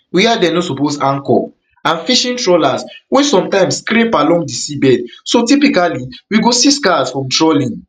wia dem no suppose anchor and fishing trawlers wey sometimes scrape along di seabed so typically we go see scars from trawling